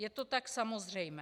Je to tak samozřejmé.